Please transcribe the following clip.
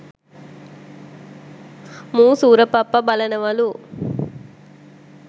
මූ සූර පප්ප බලනවලු